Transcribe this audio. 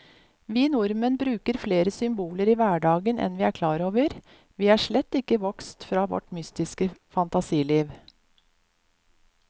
Vi nordmenn bruker flere symboler i hverdagen enn vi er klar over, vi er slett ikke vokst fra vårt mytiske fantasiliv.